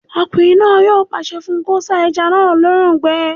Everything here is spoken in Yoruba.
Ọkùnrin náà yóò pàṣẹ fún un kó sá ẹja náà lóòrùn gbẹ